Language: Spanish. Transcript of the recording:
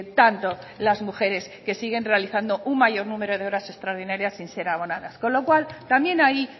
tanto las mujeres que siguen realizando un mayor número de horas extraordinarias sin ser abonadas con lo cual también ahí